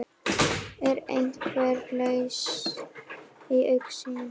Er einhver lausn í augsýn?